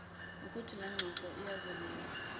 ukluthi lengxoxo iyazungeza